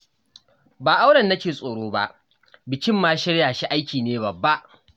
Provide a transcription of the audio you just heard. Ba auren nake tsoro ba, bikin ma shirya shi aiki ne babba